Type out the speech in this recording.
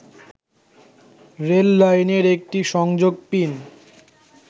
রেললাইনের একটি সংযোগ পিন